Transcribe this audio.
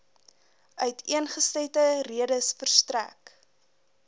uiteengesette redes verstrek